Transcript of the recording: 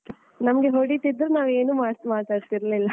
ನಮ್ಗೆ ಹೊಡಿತಿದ್ರು ನಾವು ಏನು ಮಾಡ್ತ್ ಮಾತಾಡ್ತಿರ್ಲಿಲ್ಲ.